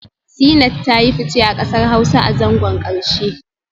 Zeenat ta yi fice a kasar Hausa a zangon karshe